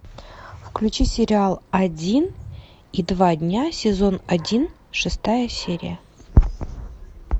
включи сериал один и два дня сезон один шестая серия